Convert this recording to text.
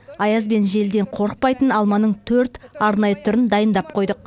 аяз бен желден қорықпайтын алманың төрт арнайы түрін дайындап қойдық